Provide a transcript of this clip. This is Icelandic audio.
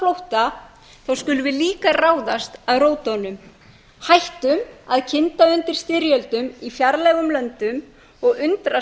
á flótta skulum við líka ráðast að rótunum hættum að kynda undir styrjöldum í fjarlægum löndum og undrast